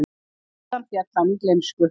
Síðan féll hann í gleymsku.